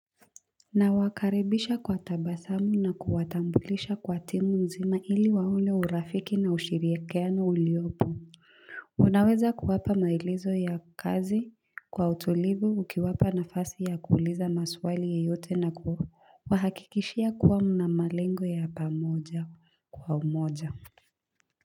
Nawakaribisha kwa tabasamu na kuwatambulisha kwa timu nzima ili waone urafiki na ushirikiano uliyopo unaweza kuwapa maelezo ya kazi kwa utulivu ukiwapa nafasi ya kuuliza maswali yoyote na kuwahakikishia kuwa mna malengo ya pamoja kwa umoja. Kwa hivyo.